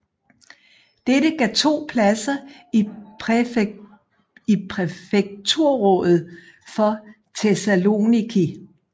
Dette gav to pladser i Præfekturrådet for Thessaloniki